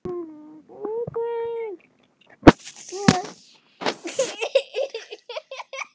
Hann er með grænar hendur.